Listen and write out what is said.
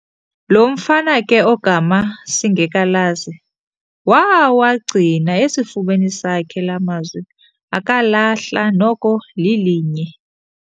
Lo mfana ke ogama singekalazi, waawagcina esifubeni sakhe laa mazwi akalahla noko lilinye.